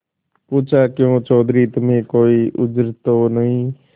पूछाक्यों चौधरी तुम्हें कोई उज्र तो नहीं